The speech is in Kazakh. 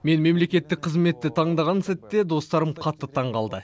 мен мемлекеттік қызметті таңдаған сәтте достарым қатты таңғалды